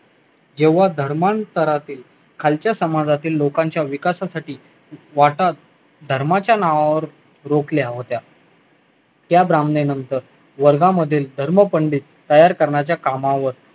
जेव्हा धर्मांतरआतील खालच्या समाजातील लोकांच्या विकासासाठी वाटात धर्माच्या नावावर रोखल्या होत्या त्या ब्राह्मणे नंतर वर्ध्या मधील धर्म पंडित तयार करण्याच्या कामावर